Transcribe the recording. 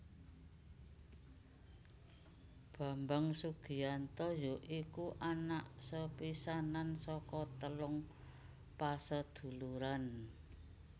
Bambang Sugianto ya iku anak sepisanan saka telung paseduluran